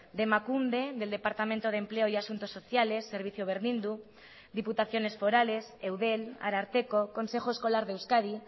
de emakunde del departamento de empleo y asuntos sociales servicio berdindu diputaciones forales eudel ararteko consejo escolar de euskadi